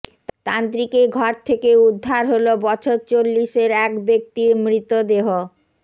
তান্ত্রিকের ঘর থেকে উদ্ধার হল বছর চল্লিশের এক ব্যক্তির মৃতদেহ